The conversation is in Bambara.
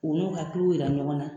U n'u hakiliw jira ɲɔgɔn na